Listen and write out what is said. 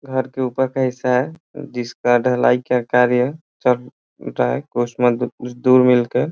घर के ऊपर का हिस्सा है जिसका ढलाई का कार्य चल रहा है। मिलकर --